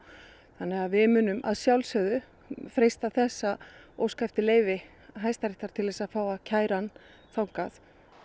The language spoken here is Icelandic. þannig við munum að sjálfsögðu freista þess að óska eftir leyfi Hæstaréttar til að fá að kæra hann þangað